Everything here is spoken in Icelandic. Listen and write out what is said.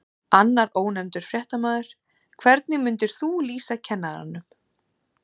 Annar ónefndur fréttamaður: Hvernig myndir þú lýsa kennaranum?